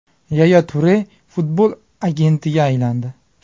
Yaya Ture futbol agentiga aylandi.